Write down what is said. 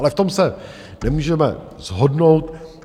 Ale v tom se nemůžeme shodnout.